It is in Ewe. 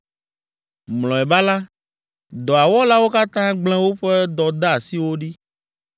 Mlɔeba la, dɔa wɔlawo katã gblẽ woƒe dɔdeasiwo ɖi.